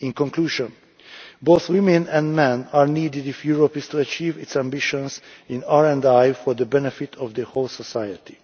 In conclusion, both women and men are needed if Europe is to achieve its ambitions in RI for the benefit of the whole of society.